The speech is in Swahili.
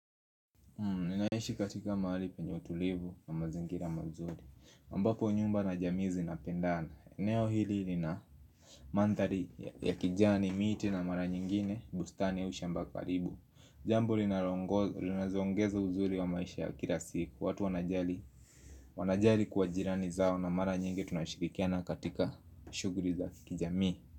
Ninaishi katika mahali penye utulivu na mazingira mazuri ambapo nyumba na jamii zinapendana eneo hili lina mandhari ya kijani, miti na mara nyingine bustani au shamba karibu Jambo linazoongeza uzuri wa maisha ya kila siku watu wanajali wanajali kwa jirani zao na mara nyingi tunashirikiana katika shuguli za kijami.